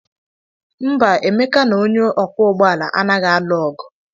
Mba, Emeka na onye ọkwọ ụgbọala anaghị alụ ọgụ.